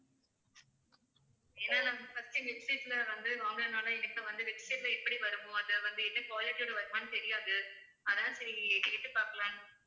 ஏன்னா நாங்க first உ website ல வந்து வாங்கினதுனால எனக்கு வந்து website ல எப்படி வருமோ அத வந்து என்ன quality யோட வருமான்னு தெரியாது அதான் சரி கேட்டு பார்க்கலாம்ன்னு